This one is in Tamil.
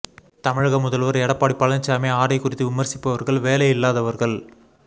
தமிழக முதல்வர் எடப்பாடி பழனிச்சாமி ஆடை குறித்து விமர்சிப்பவர்கள் வேலை இல்லாதவர்கள்